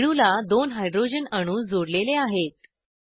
रेणूला दोन हायड्रॉजन अणू जोडलेले आहेत